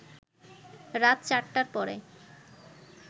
রাত ৪টার পরে